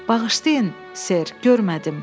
Bağışlayın, ser, görmədim.